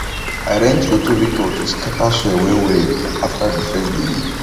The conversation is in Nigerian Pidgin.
i rent rotavator to scatter soil wellwell after the first diging